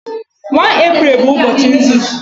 1 Eprel bụ ụbọchị nzuzu